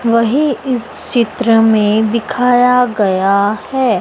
वही इस चित्र में दिखाया गया है।